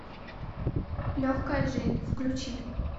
легкая жизнь включи